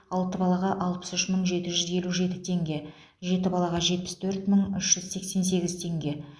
алты балаға алпыс үш мың жеті жүз елу жеті теңге жеті балаға жетпіс төрт мың үш жүз сексен сегіз теңге